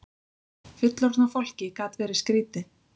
Fullorðna fólkið gat verið skrýtið.